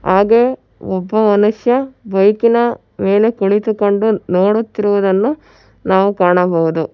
ಹಾಗೆ ಒಬ್ಬ ಮನುಷ್ಯ ಬೈಕಿನ ಮೇಲೆ ಕುಳಿತುಕೊಂಡು ನೋಡುತ್ತಿರುವುದನ್ನು ನಾವು ಕಾಣಬಹುದು.